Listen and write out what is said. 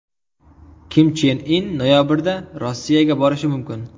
Kim Chen In noyabrda Rossiyaga borishi mumkin.